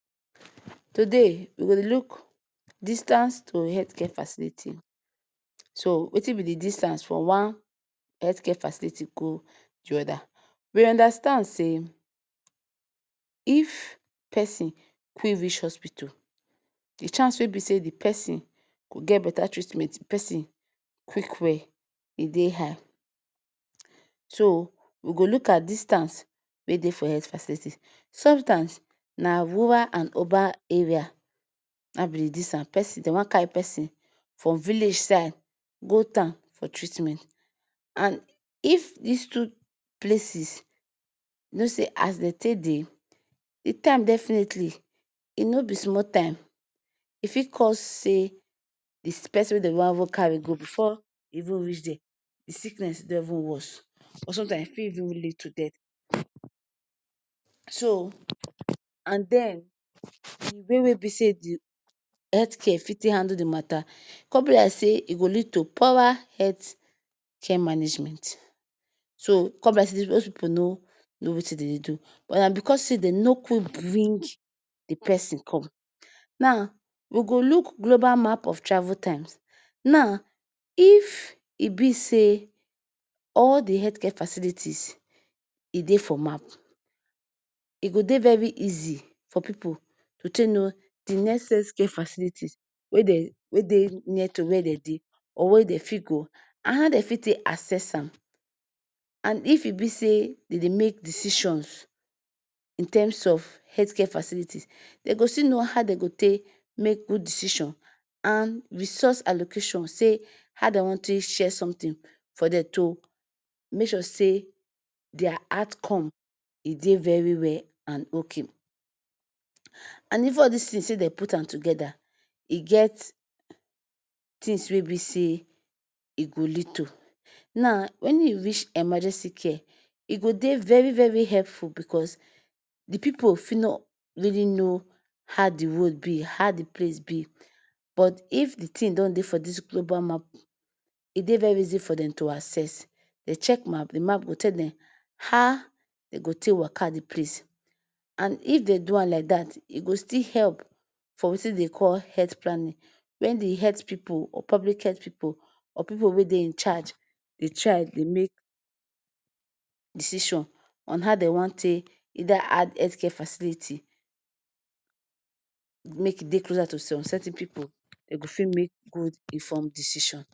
To day we go Dey look distance to hetke faciliti, so Wetin b d difference from wan hetke facility go d oda, we undastand say?,if pesin Fi reach hospitu, d chance wey b say the persin ge, beta treatment d persin quick well,e Dey high so we go luk at distance wey Dey for het faciliti, some tym na rural and Oba area, na in be d distance, persin, Den wan Carri persin, from village side go tan for treatment, an if dis two places no say as den take Dey d tym definateli,d tym w no be sumo tym,e Fi cos say d persin wen den wan even carry go before e even reach there d sickness don even wos or some tym e Fi even lid to det? So and den d way wey be say d hetke Fi take handle d mata con b as say e go lead to power hetke management, so con be as if those pipu no know Wetin dem Dey do or an becos say dem no quick bring d persin com, naa we go luk globa map of travul tyms, na? If e b say?all d hetke facilities e Dey for map e go Dey very easy for pipu to take know d next hetke faciliti wey den wey Dey near to wer den Dey or wer den fit go?and ha den fit take assess an, and if e b say dem Dey make decisions in terms of hetke facilities dem go still know ha dem go take may good decisions and resource allocation say ha dem wan take share sontin for den to May sure say their atcome e Dey very well and ok an even all this Tins if Den put an together get tins wey be say? Naa? Wen you reach emagency ke e go Dey very very epfu becos d pipu Fi no really know ha d road be hard place b but if d Tim don Dey for this globa map e Dey very easy for den to assess den check map d map go te den ha den go take waka d place an if den do an like that e go still help ep for Wetin den call het planning wen d het pipu or public het pipu or pipu wey Dey I charge Dey try Dey make decision ha dem wan take Eida add hetke faciliti make Dey clear to some certin pipu den Fi make good infon decision